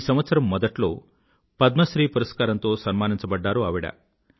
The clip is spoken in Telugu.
ఈ సంవత్సరం మొదట్లో పద్మశ్రీ పురస్కారంతో సన్మానించబడ్డారు ఆవిడ